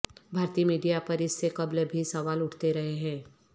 بھارتی میڈیا پر اس سے قبل بھی سوال اٹھتے رہے ہیں